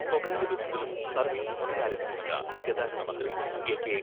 സ്വകാര്യ ബസുകളും സർവ്വീസ് പുനരാരംഭിക്കുമെന്ന് ഗതാഗത മന്ത്രി എ.കെ.